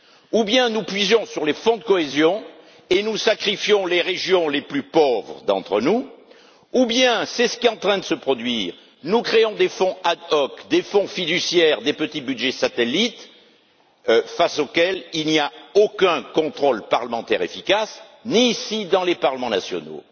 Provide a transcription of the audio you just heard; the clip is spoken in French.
soit nous puisons dans les fonds de cohésion, et nous sacrifions les régions les plus pauvres d'entre nous, soit c'est ce qui est en train de se produire nous créons des fonds ad hoc, des fonds fiduciaires, des petits budgets satellites face auxquels il n'y a aucun contrôle parlementaire efficace, ni ici, ni dans les parlements nationaux.